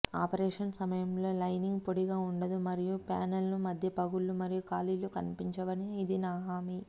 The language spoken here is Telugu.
ఆపరేషన్ సమయంలో లైనింగ్ పొడిగా ఉండదు మరియు ప్యానెల్లు మధ్య పగుళ్ళు మరియు ఖాళీలు కనిపించవు అని ఇది హామీ